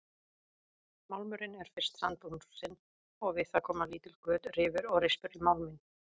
Málmurinn er fyrst sandblásinn og við það koma lítil göt, rifur og rispur í málminn.